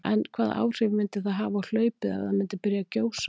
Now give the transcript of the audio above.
En hvaða áhrif myndi það hafa á hlaupið ef það myndi byrja að gjósa?